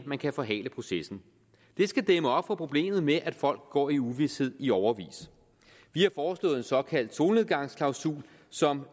man kan forhale processen det skal dæmme op for problemet med at folk går i uvished i årevis vi har foreslået en såkaldt solnedgangsklausul som